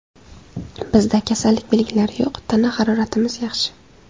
Bizda kasallik belgilari yo‘q, tana haroratimiz yaxshi.